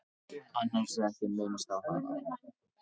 Annars er ekki minnst á hana.